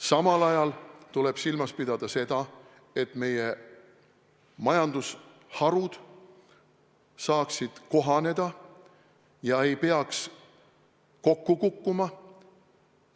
Samal ajal tuleb silmas pidada seda, et meie majandusharud saaksid sellega kohaneda ega peaks kokku kukkuma.